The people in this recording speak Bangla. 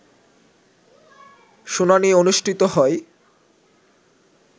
শুনানি অনুষ্ঠিত হয়